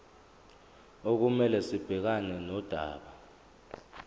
okumele sibhekane nodaba